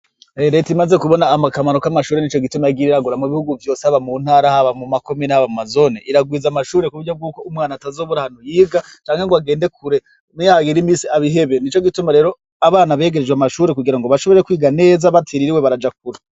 Rereta imaze kubona amakamaro k'amashure ni co gituma giriragura mu bihugu vyose aba mu ntarahaba mu makumi n'abamazoni iragwiza amashure ku buryo bw'uko umwana atazobora hantu yiga canke ngo agende kure muyagire imisi abihebe ni co gituma rero abana begerejwe amashure kugira ngo bashobore kwiga neza batiriri we baraja kura.